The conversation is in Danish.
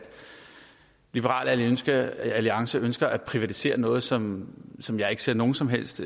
liberal alliance alliance ønsker at privatisere noget som som jeg ikke ser nogen som helst